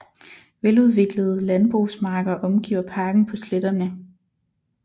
Veludviklede landbrugsmarker omgiver parken på sletterne